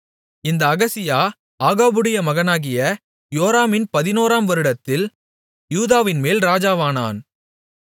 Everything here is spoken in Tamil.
இந்த அகசியா ஆகாபுடைய மகனாகிய யோராமின் பதினோராம் வருடத்தில் யூதாவின்மேல் ராஜாவானான்